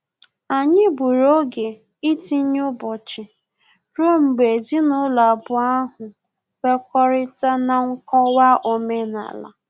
Anyị gburu oge itinye ụbọchị rue mgbe ezinụlọ abụọ ahụ kwekọrịta na nkọwa omenala